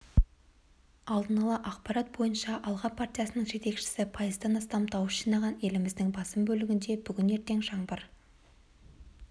алдын ала ақпарат бойынша алға партиясының жетекшісі пайыздан астам дауыс жинаған еліміздің басым бөлігінде бүгін-ертең жаңбыр